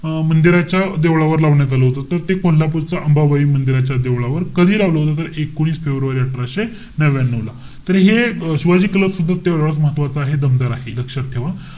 अं मंदिराच्या देवळावर लावण्यात आलं होतं. त ते कोल्हापूर च अंबाबाई मंदिराच्या, देवळावर. कधी लावलं होत ते? एकोणीस फेब्रुवारी अठराशे नव्व्यान्यू ला. तर हे, शिवाजी क्लब सुद्धा तेवढाच महत्वाचा आहे. दमदार आहे. लक्षात ठेवा.